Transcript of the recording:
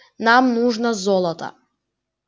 нам нужно золото